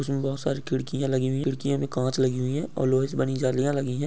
उसमें बहोत सारी खिड़कियाँ लगी हुई हैं खिड़कियाँ में काँच लगी हुई है और लोहे से बनी जालियां लगी हैं।